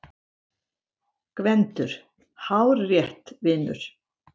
GVENDUR: Hárrétt, vinur!